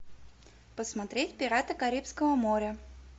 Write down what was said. посмотреть пираты карибского моря